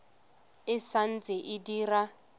e sa ntse e dira